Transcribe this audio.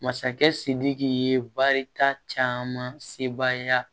Masakɛ sidiki ye baarita caman se baaya